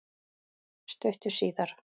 Stuttu síðar